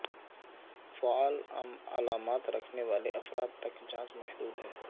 فعال علامات رکھنے والے افراد تک جانچ محدود ہے